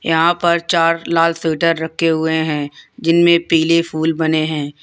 यहां पर चार लाल सीवटर रखें हुए हैं जिनमें पीले फूल बने हैं।